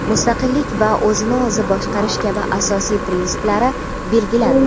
mustaqillik va o‘zini o‘zi boshqarish kabi asosiy prinsiplari belgilandi.